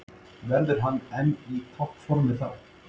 Verður hann enn í toppformi þá?